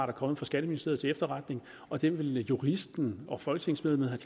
er kommet fra skatteministeriet til efterretning og den vil juristen og folketingsmedlemmet